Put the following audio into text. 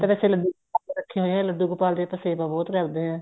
ਮੈਂ ਤਾਂ ਵੈਸੇ ਲੱਡੂ ਰੱਖੇ ਹੋਏ ਏ ਲੱਡੂ ਗੋਪਾਲ ਦੀ ਸੇਵਾ ਬਹੁਤ ਕਰਦੇ ਆ